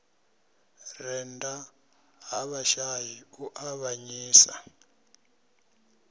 rennda ha vhashai u avhanyisa